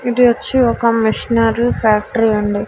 ఇదొచ్చి ఒక machinery factory అండి.